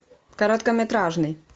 короткометражный